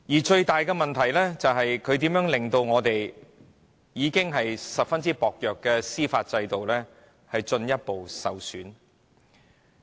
最大的問題是，她令到香港已然非常薄弱的司法制度進一步受損。